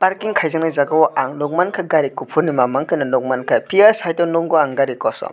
parking khaijakna jaaga o ang nugmanka gari kufur maan maanke o nug manke pia site o nugo ang gari kosom.